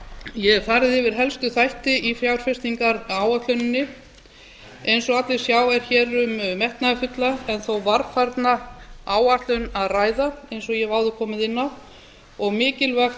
ég hef hér farið yfir helstu þætti í fjárfestingaráætluninni eins og allir sjá er hér um að ræða metnaðarfulla en þó varfærnislega áætlun eins og ég hef áður komið inn á og mikilvægt